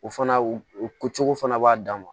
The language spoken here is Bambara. O fana o cogo fana b'a dan ma